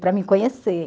para me conhecer.